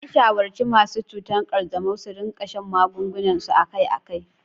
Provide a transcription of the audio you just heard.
An shawarci masu cutar kanjamau su rika shan magungunansu akai-akai.